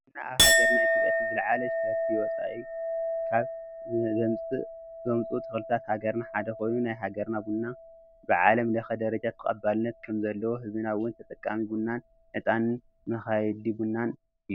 ቡና ኣብ ሃገርና ኢትዮጲያ እቲ ዝላዓለ ሸርፊ ወፃ ኢ ካ ዘምፅ ኡ ተኽልታት ሃገርና ሓደ ኮይኑ ናይ ሃገርና ቡና ብዓለም ለኸ ደርጃ ተቀባልንት ከም ዘልዎን ህዝብና እውን ተጠቃማይ ቡንን ዕጣን ድማ መኻይዲ ቡንን እዩ::